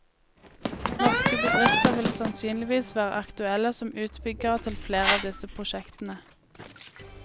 Norske bedrifter vil sannsynligvis være aktuelle som utbyggere til flere av disse prosjektene.